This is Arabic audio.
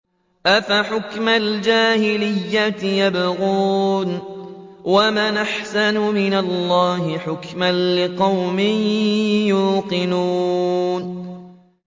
أَفَحُكْمَ الْجَاهِلِيَّةِ يَبْغُونَ ۚ وَمَنْ أَحْسَنُ مِنَ اللَّهِ حُكْمًا لِّقَوْمٍ يُوقِنُونَ